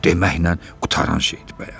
Deməklə qurtaran şeydir bəyəm?